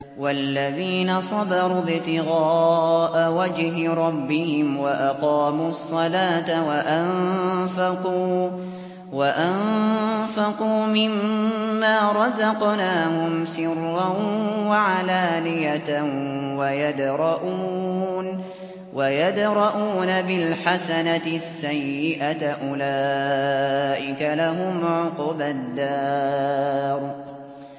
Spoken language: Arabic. وَالَّذِينَ صَبَرُوا ابْتِغَاءَ وَجْهِ رَبِّهِمْ وَأَقَامُوا الصَّلَاةَ وَأَنفَقُوا مِمَّا رَزَقْنَاهُمْ سِرًّا وَعَلَانِيَةً وَيَدْرَءُونَ بِالْحَسَنَةِ السَّيِّئَةَ أُولَٰئِكَ لَهُمْ عُقْبَى الدَّارِ